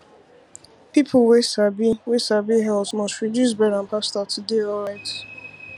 people wey sabi wey sabi health must reduce bread and pasta to dey alright